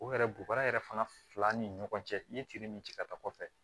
O yɛrɛ bɔgɔ yɛrɛ fana fila ni ɲɔgɔn cɛ n'i ye tin min ci ka taa kɔfɛ